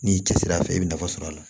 N'i cɛsir'a fɛ i bɛ nafa sɔrɔ a la